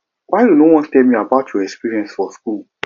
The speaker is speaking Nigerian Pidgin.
why you no wan tell me about your experience for school